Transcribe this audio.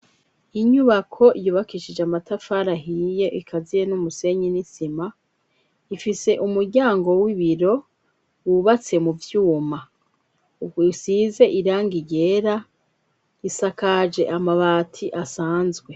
Inyubako yubakishije amatafarahiye ikaziye n'umusenyi n'itsima ifise umuryango w'ibiro wubatse mu vyuma uko isize iranga igera isakaje amabati asanzwe.